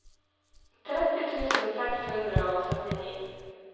tretti tusen seks hundre og syttini